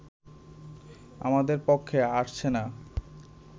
আমাদের পক্ষে আসছে না